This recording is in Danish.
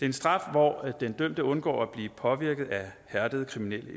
en straf hvor den dømte undgår at blive påvirket af hærdede kriminelle